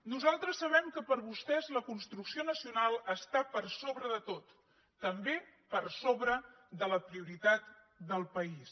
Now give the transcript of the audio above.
nosaltres sabem que per a vostès la construcció nacional està per sobre de tot també per sobre de la prioritat del país